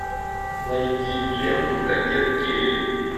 найди ленту кадет келли